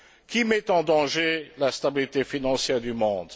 Qui met en danger la stabilité financière du monde?